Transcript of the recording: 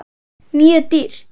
Mjög dýrt.